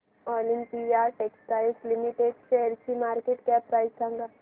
Olympia textiles limited शेअरची market cap price सांगा